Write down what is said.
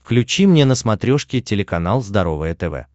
включи мне на смотрешке телеканал здоровое тв